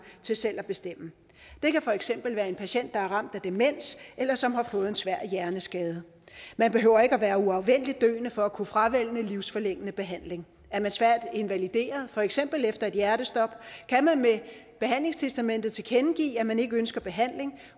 til selv at bestemme det kan for eksempel være en patient der er ramt af demens eller som har fået en svær hjerneskade man behøver ikke at være uafvendeligt døende for at kunne fravælge livsforlængende behandling er man svært invalideret for eksempel efter et hjertestop kan man med behandlingstestamentet tilkendegive at man ikke ønsker behandling